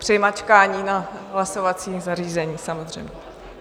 Při mačkání na hlasovacím zařízení, samozřejmě.